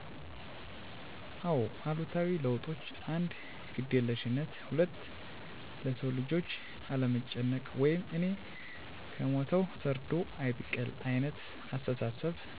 አዎ አሉታዊ ለውጦች 1. ግዴለሽነት 2. ለሰውልጆች አለመጨነቅ ወይም እኔ ከሞትሁ ሰርዶ አይብቀል አይነት አስተሳሰብ